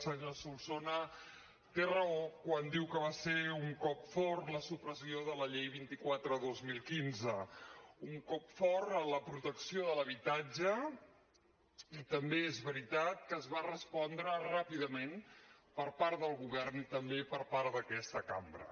senyor solsona té raó quan diu que va ser un cop fort la supressió de la llei vint quatre dos mil quinze un cop fort a la protecció de l’habitatge i també és veritat que es va respondre ràpidament per part del govern i també per part d’aquesta cambra